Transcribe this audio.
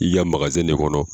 I ka ne kɔnɔ.